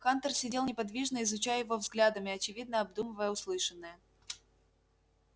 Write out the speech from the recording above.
хантер сидел неподвижно изучая его взглядом и очевидно обдумывая услышанное